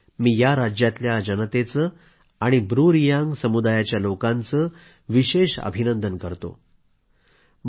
पुन्हा एकदा मी या राज्यातल्या जनतेचे आणि ब्रू रियांग समुदायाच्या लोकांचे विशेष अभिनंदन करतो